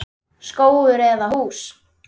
Skógur eða hús?